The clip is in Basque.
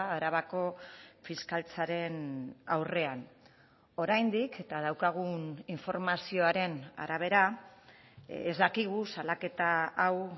arabako fiskaltzaren aurrean oraindik eta daukagun informazioaren arabera ez dakigu salaketa hau